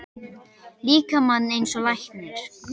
líkamann eins og læknir.